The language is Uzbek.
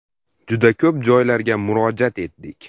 Juda ko‘p joylarga murojaat etdik.